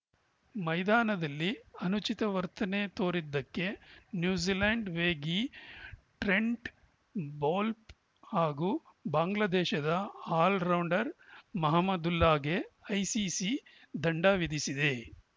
ಮೈದಾನದಲ್ಲಿ ಅನುಚಿತ ವರ್ತನೆ ತೋರಿದ್ದಕ್ಕೆ ನ್ಯೂಜಿಲೆಂಡ್‌ ವೇಗಿ ಟ್ರೆಂಟ್‌ ಬೌಲ್ಟ್‌ ಹಾಗೂ ಬಾಂಗ್ಲಾದೇಶ ಆಲ್ರೌಂಡರ್‌ ಮಹಮದುಲ್ಲಾಗೆ ಐಸಿಸಿ ದಂಡ ವಿಧಿಸಿದೆ